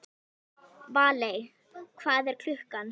Valey, hvað er klukkan?